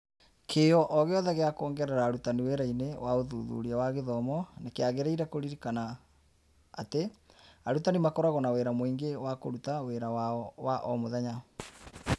Kĩyo o gĩothe gĩa kwongerera arutani wĩra-inĩ wa ũthuthuria wa gĩthomo nĩ kĩagĩrĩire kũririkana atĩ arutani makoragwo na wĩra mũingĩ wa kũruta wĩra wao wa o mũthenya.